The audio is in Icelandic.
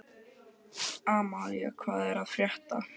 Amalía, hvað er að frétta?